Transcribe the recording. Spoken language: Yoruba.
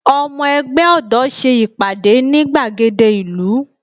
Ọmọ ẹgbẹ́ ọ̀dọ́ ṣe ìpàdé ní gbàgede ìlú